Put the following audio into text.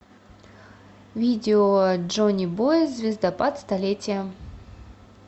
видео джонибой звездопад столетия